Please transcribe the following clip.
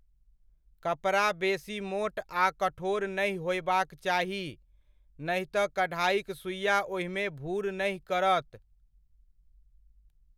कपड़ा बेसी मोट आ कठोर नहि होयबाक चाही, नहि तऽ कढ़ाइक सुइआ ओहिमे भूर नहि करत।